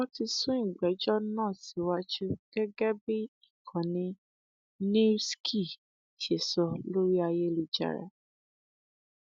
wọn ti sún ìgbẹjọ náà síwájú gẹgẹ bí ìkànnì newssky ṣe sọ lórí ayélujára